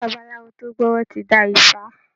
Babalawo tó gbówọ́ ti dá ifá